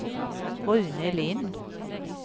Rune Lindh